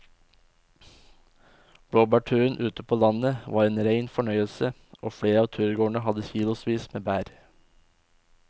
Blåbærturen ute på landet var en rein fornøyelse og flere av turgåerene hadde kilosvis med bær.